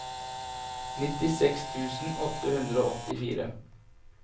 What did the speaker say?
nittiseks tusen åtte hundre og åttifire